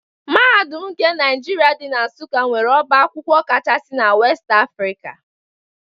Mahadum nke Naijiria dị na Nsụka nwere ọbá akwụkwọ kachaasi na West Africa.